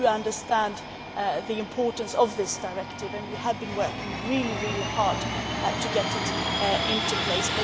We do understand the importance of this directive and we have been working really, really hard to get it into place.